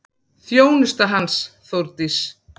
Þjónusta hans, Þórdís